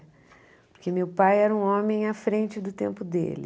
Porque meu pai era um homem à frente do tempo dele.